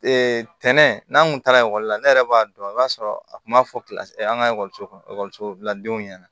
tɛnɛn kun taara ekɔli la ne yɛrɛ b'a dɔn i b'a sɔrɔ a kun b'a fɔ an ka ekɔliso bila denw ɲɛna